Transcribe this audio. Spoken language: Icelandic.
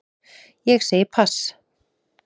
Ég segi pass.